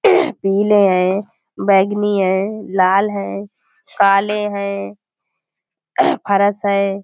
पीले हैं बैगनी है लाल है काले हैं फर्श है।